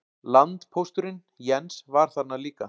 Landpósturinn, Jens, var þarna líka.